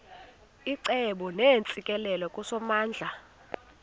icebo neentsikelelo kusomandla